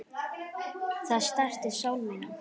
Það snertir sál mína.